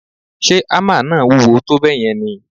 Ṣe hámà náà wúwo tó bẹ́ẹ̀ yẹn ni?